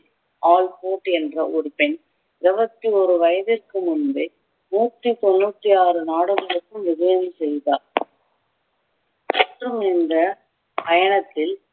என்ற ஒரு பெண் இருபத்தியோரு வயதிற்கு முன்பே நூற்றி தொண்ணூற்றி ஆறு நாடுகளுக்கும் விஜயம் செய்தார் மற்றும் இந்த பயணத்தில்